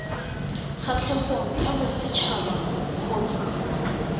kgatlhegong ya boset haba kgotsa